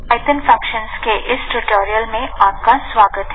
এটি চালানো যাক lt৫ ৬ সেকেন্ড এর জন্য চালানো যাক জিটি